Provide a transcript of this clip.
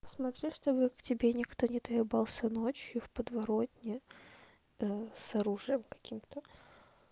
смотри чтобы к тебе никто не доебался ночью в подворотне с оружием каким-то